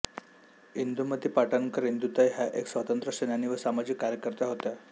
इंदुमती पाटणकर इंदुताई ह्या एक स्वातंत्र्य सेनानी व सामाजिक कार्यकर्त्या होत्या